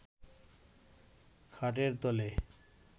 খাটের তলে